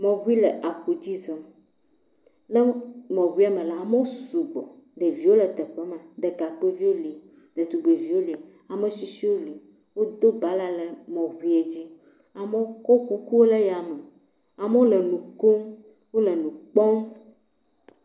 Mɔʋui le aƒu dzi zɔm le mɔ ʋuiame la, amo sugbɔ ɖevio le teƒe ma ɖeka kpoevio le ,ɖetugbevio le, ametsitsio le, wo do bala le mɔʋuiɛ dzi, amo kɔ koklo le ya me, amo le nukom wole nu kpɔm.